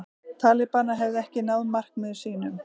Talibanar hefðu ekki náð markmiðum sínum